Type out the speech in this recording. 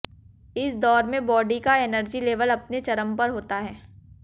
इस दौर में बॉडी का एनर्जी लेवल अपने चरम पर होता है